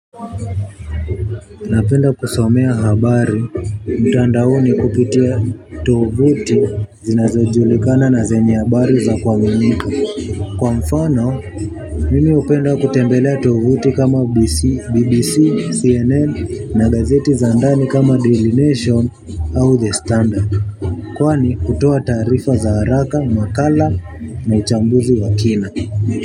Napenda kusomea habari, mtandaoni kupitia tovuti zinazojulikana na zenye habari za kuaminika. Kwa mfano, mimi hupenda kutembelea tovuti kama BBC, CNN na gazeti za ndani kama Daily Nation au The Standard. Kwani hutoa taarifa za haraka, makala na uchambuzi wa kina.